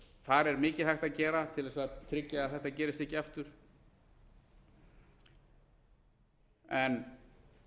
þar er mikið hægt að gera til að tryggja að þetta gerist ekki aftur en